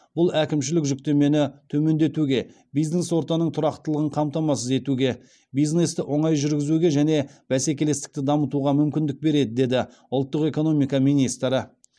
бұл әкімшілік жүктемені төмендетуге бизнес ортаның тұрақтылығын қамтамасыз етуге бизнесті оңай жүргізуге және бәсекелестікті дамытуға мүмкіндік береді деді ұлттық экономика министрі